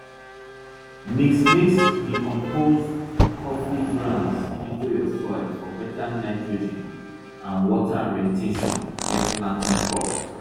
mix mix decomposed coffee grounds into your soil for better nitrogen and water re ten tion when planting crops